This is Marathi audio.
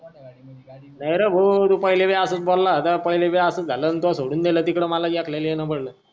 अरे नाहीरे तू पाहिलं बी असाच बोला होता पहिले पण नंतर सोडून दिला तिकडे मला ऐकलं येऊन पडला